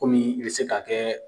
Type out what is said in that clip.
Kɔmi i bɛ se k'a kɛ